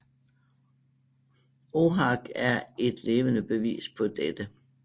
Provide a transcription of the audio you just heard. Chhak er et levende bevis på dette